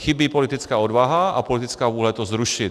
Chybí politická odvaha a politická vůle to zrušit.